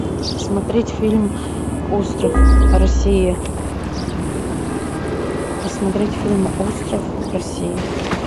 смотреть фильм остров россия посмотреть фильм остров россия